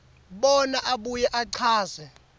bona abuye achaze